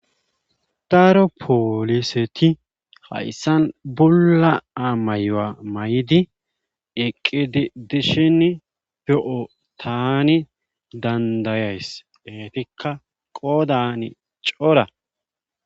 daaro pooliseti hayssan bulla amayoa may7di eqqidi dishin pe7oo taani dandayays etikka qoodan cora